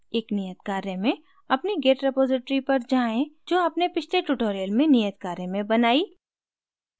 एक नियत कार्य मेंअपनी git repository पर जाएँ जो as पिछले tutorial में नियत कार्य में बनाई